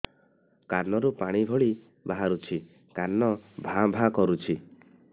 କାନ ରୁ ପାଣି ଭଳି ବାହାରୁଛି କାନ ଭାଁ ଭାଁ କରୁଛି